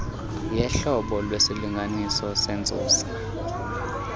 yohlobo lwesilinganisi sentsusa